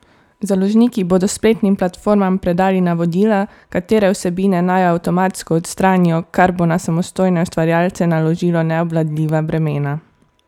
Založniki bodo spletnim platformam predali navodila, katere vsebine naj avtomatsko odstranijo, kar bo na samostojne ustvarjalce naložilo neobvladljiva bremena.